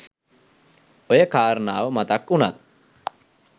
ඔය කාරණාව මතක් උනත්